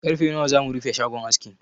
Karfe nawa za mu rufe shagon askin?